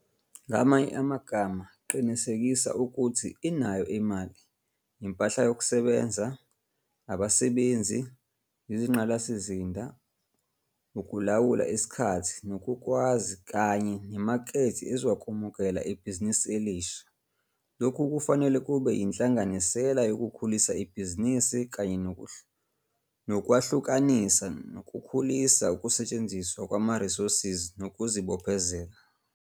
Ngamanye amagama qinisekisa ukuthi inayo imali, impahla yokusebenza, abasebenzi, izingqala sizinda, ukulawula isikhathi nokukwazi kanye nemakethe ezokwamukela ibhizinbisi elisha. Lokhu kufanele kube yinhlanganisela yokukhulisa ibhizinisi kanye nokwahlukanisa nokukhulisa ukusetshenziswa kwamarisosi ngokuzibophezela.